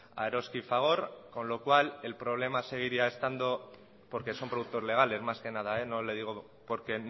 a eroski y fagor con lo cual el problema seguiría estando porque son productos legales más que nada no le digo porque